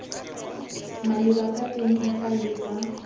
maleba ka teng difaele tsa